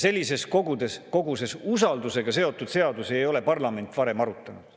Sellises koguses maksuseadusi ja sellises koguses usaldusega seotud seadusi ei ole parlament varem arutanud.